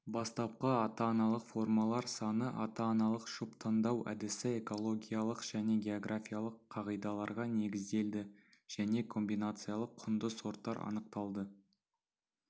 бастапқы ата-аналық формалар саны ата-аналық жұп таңдау әдісі экологиялық және географиялық қағидаларға негізделді және комбинациялық құнды сорттар анықталды